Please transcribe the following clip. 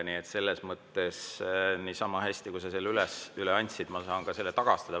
Nii et selles mõttes saan ma samamoodi, nagu sa selle üle andsid, selle tagastada.